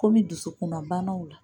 Kɔmi dusukunna banaw